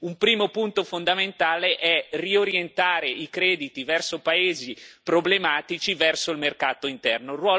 Quindi, un primo punto fondamentale è riorientare i crediti verso paesi problematici e verso il mercato interno.